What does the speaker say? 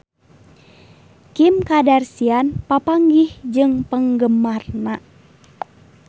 Kim Kardashian papanggih jeung penggemarna